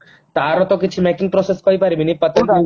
ତାର ତ କିଛି making process କହି ପାରିବିନି